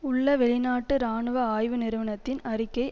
உள்ள வெளிநாட்டு இராணுவ ஆய்வு நிறுவனத்தின் அறிக்கை